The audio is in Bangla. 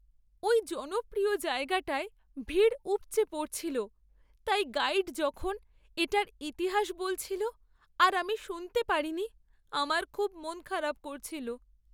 ওই জনপ্রিয় জায়গাটায় ভিড় উপচে পড়ছিল, তাই গাইড যখন এটার ইতিহাস বলছিল আর আমি শুনতে পারিনি, আমার খুব মনখারাপ করছিল।